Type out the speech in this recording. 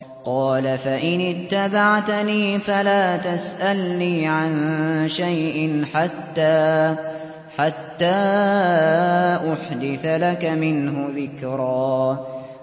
قَالَ فَإِنِ اتَّبَعْتَنِي فَلَا تَسْأَلْنِي عَن شَيْءٍ حَتَّىٰ أُحْدِثَ لَكَ مِنْهُ ذِكْرًا